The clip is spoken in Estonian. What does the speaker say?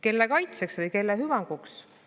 Kelle kaitseks või kelle hüvanguks?